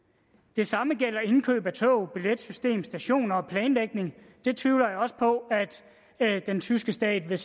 det samme gælder indkøb af tog billetsystem stationer og planlægning det tvivler jeg også på den tyske stat vil